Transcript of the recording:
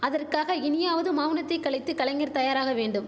அதற்காக இனியாவது மௌனத்தை கலைத்து கலைஞர் தயாராக வேண்டும்